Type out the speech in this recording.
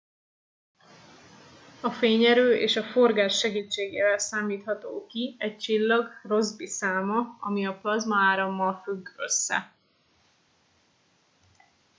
a fényerő és a forgás segítségével számítható ki egy csillag rossby száma ami a plazmaárammal függ össze